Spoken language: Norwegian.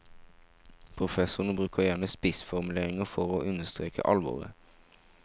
Professorene bruker gjerne spissformuleringer for å understreke alvoret.